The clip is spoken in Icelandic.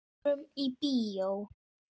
Förum í bíó.